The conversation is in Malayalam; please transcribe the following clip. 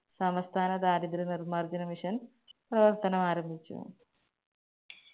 സമസ്ഥാന ദാരിദ്ര നിർമാർജന mission പ്രവർത്തനമാരംഭിച്ചു.